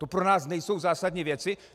To pro nás nejsou zásadní věci?